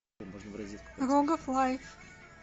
рогов лайф